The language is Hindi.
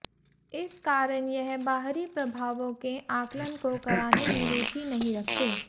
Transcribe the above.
इस कारण यह बाहरी प्रभावों के आकलन को कराने में रुचि नहीं रखते